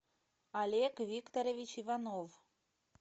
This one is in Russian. олег викторович иванов